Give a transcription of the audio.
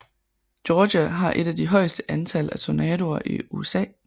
Georgia har et af de højeste antal af tornadoer i USA